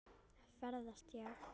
Ferðast já.